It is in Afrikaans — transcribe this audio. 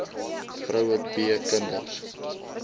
vroue b kinders